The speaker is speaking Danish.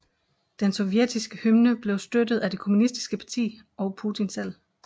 Den sovjetiske hymne blev støttet af det Kommunistiske Parti og Putin selv